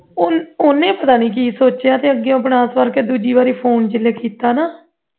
ਉਹਨੇ ਉਹਨੇ ਪਤਾ ਨਹੀਂ ਕੀ ਸੋਚ ਕੇ ਅੱਗੇ ਤੇ ਉਹ ਬਣਾ ਸੁਆਰ ਕੇ ਦੂਜੀ ਵਾਰੀ phone ਦੇ ਉੱਤੇ ਲੱਗੀ ਜਿਸ ਵੇਲੇ ਕੀਤਾ ਨਾਂ